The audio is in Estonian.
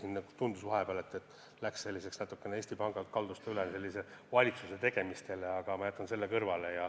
Vahepeal küll tundus, et jutt kaldus natukene Eesti Pangalt valitsuse tegemistele üle, aga ma jätan selle kõrvale.